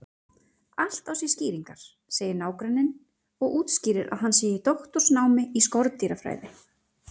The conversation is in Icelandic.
Allt á sér skýringar, segir nágranninn og útskýrir að hann sé í doktorsnámi í skordýrafræði.